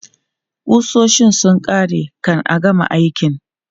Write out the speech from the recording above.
Ƙusoshin sun ƙare kan a gama aikin.